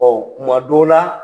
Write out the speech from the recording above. Bawo kuma dɔw la